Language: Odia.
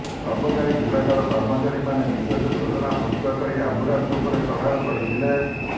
ଅବକାରୀ ବିଭାଗର କର୍ମଚାରୀମାନେ ବିଶେଷ ଯୋଜନା ପ୍ରସ୍ତୁତ କରି ଆମ୍ବୁଲାନ୍ସ ଉପରେ ଚଢ଼ାଉ କରି ଥିଲେ